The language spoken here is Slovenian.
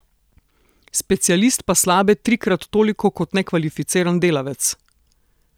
Specialist pa slabe trikrat toliko kot nekvalificiran delavec!